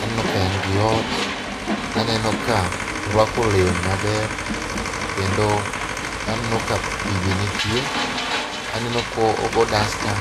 aneno ka en gi ot, aneno ka orwako lewni maber kendo aneno ka pii be nitie aneno ko go dasta.